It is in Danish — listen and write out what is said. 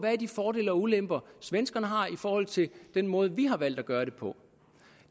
de fordele og ulemper svenskerne har i forhold til den måde vi har valgt at gøre det på